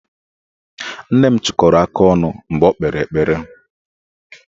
Nne m chịkọrọ aka ọnụ mgbe o kpere ekpere